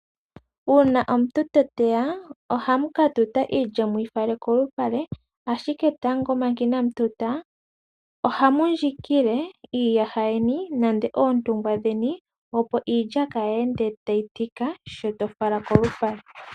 Uuna omuntu ta teya ohamu ka tuta iilya muyi fale kolupale ,ashike tango manga inamu tuta ohamu ndjikile iiyaha yeni nenge oontungwa dheni opo iilya kayi ende tayi tika sho toyi fala kolupale .